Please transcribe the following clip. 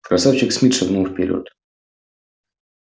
красавчик смит шагнул вперёд